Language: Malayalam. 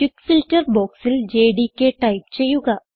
ക്വിക്ക് ഫിൽട്ടർ ബോക്സിൽ ജെഡികെ ടൈപ്പ് ചെയ്യുക